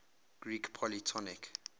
greek polytonic